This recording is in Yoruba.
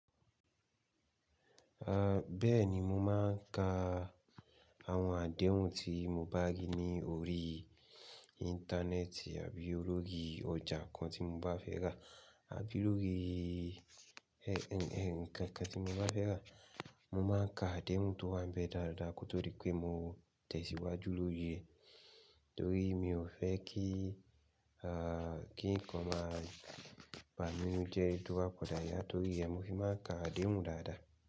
Bẹ́ẹ̀ni, mo máa ń ka àwọn àdéhùn tí mo bá rí ní orí Íńtánẹ́ẹ̀tì àbí lórí ọjà kan tí mo bá fẹ́ rà àbí lórí ẹ̀ ǹ kan kan tí mo bá fẹ́ rà. Mo máa ń ka àdéhùn tó wá ń bẹ dáadáa kó tó rí pé mo tẹ̀síwájú lóri re Nítorí mi ò fẹ́ kí aa kí ǹkan máa ba mi nínú jẹ tó ba padà ya, torí rẹ mo fi máa n ka àdéhùn dáadáa.